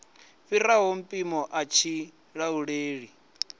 fhiraho mpimo a tshi lauleli